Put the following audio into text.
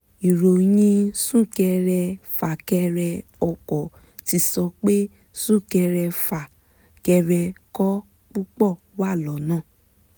ìròyìn súnkẹrẹ fàkẹrẹ ọkọ̀ ti sọ pé súkẹrẹfà kẹrẹkọ̀ púpọ̀ wà lọ́nà